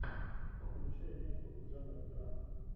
включай ленту жанр драма